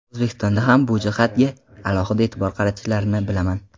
O‘zbekistonda ham bu jihatga alohida e’tibor qaratishlarini bilaman.